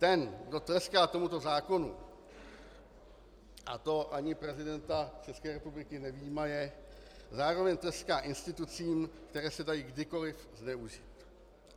Ten, kdo tleská tomuto zákonu, a to ani prezidenta České republiky nevyjímaje, zároveň tleská institucím, které se dají kdykoliv zneužít.